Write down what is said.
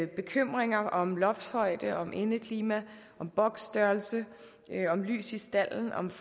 bekymringer om loftshøjde om indeklima om boksstørrelse om lys i stalden om